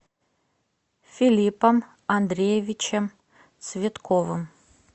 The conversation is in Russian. филиппом андреевичем цветковым